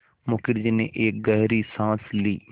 मुखर्जी ने एक गहरी साँस ली